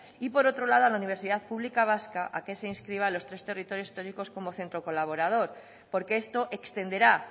y por otro lado la universidad pública vasca a que se inscriba a los tres territorios históricos como centro colaborador porque esto extenderá